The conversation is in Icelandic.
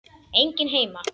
Enginn heima.